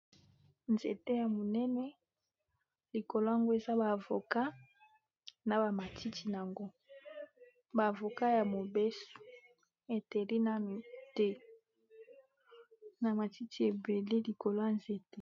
Nzete ya munene likolo yango eza ba avocats na ba matiti yango ba avocats ya mobeso e teli nanu te , na matiti ébélé likolo ya nzete .